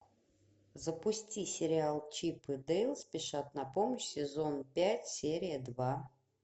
запусти сериал чип и дейл спешат на помощь сезон пять серия два